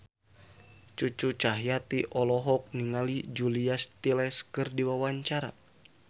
Cucu Cahyati olohok ningali Julia Stiles keur diwawancara